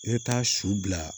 I bɛ taa su bila